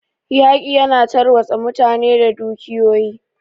Yaƙi ya na tarwatsa mutane da dukiyoyi.